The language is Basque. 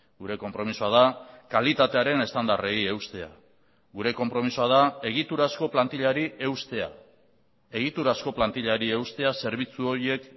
gure konpromisoa da kalitatearen estandarrei eustea gure konpromisoa da egiturazko plantilari eustea egiturazko plantilari eustea zerbitzu horiek